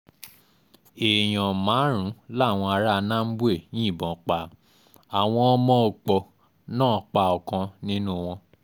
èèyàn márùn-ún làwọn ará nambwe yìnbọn pa àwọn ọmọ òòpọ̀ náà pa ọ̀kan nínú wọn